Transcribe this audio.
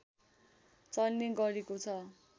चल्ने गरेको छ